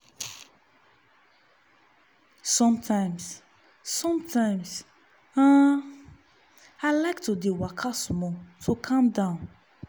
sometimes sometimes um i like to dey waka small to calm down.